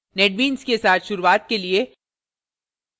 netbeans के साथ शुरूवात के लिए